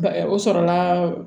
o sɔrɔla